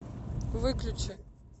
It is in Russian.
выключи